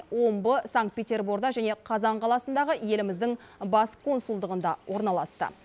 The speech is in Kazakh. омбы санкт петерборда және қазан қаласындағы еліміздің бас консулдығында орналасты